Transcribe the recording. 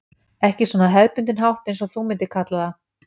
Ekki svona á hefðbundinn hátt eins og þú myndir kalla það.